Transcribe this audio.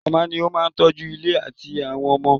Màmá ni ó máa ń tọ́jú ilé àti àwọn ọmọ.